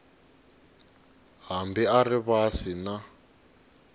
hambi a ri vasi na